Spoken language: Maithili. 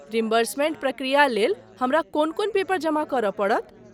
रिम्बर्समेन्ट प्रक्रिया लेल हमरा कोन कोन पेपर जमा करय पड़त।